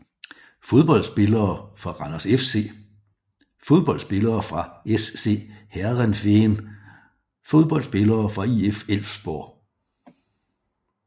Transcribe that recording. Fodboldspillere fra Randers FC Fodboldspillere fra SC Heerenveen Fodboldspillere fra IF Elfsborg